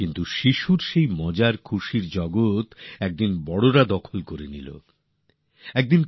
কিন্তু একদিন শৈশবের সেই দুষ্টুমিষ্টি সময়ের ঘরে বড়দের দখলদারির অনুপ্রবেশ ঘটলো